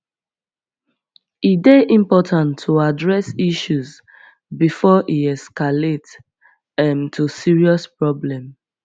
e dey important to address issues before e escalate um to serious problem